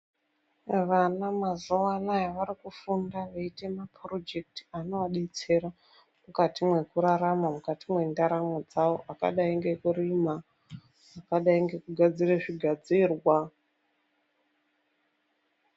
Vana mazuva ano ays vari kufunda vachiita maporojekiti anovadetsera mukati mekurarama mukati mendaramo dzawo akadai ngekurima akadai ngekugadzira zvigadzirwa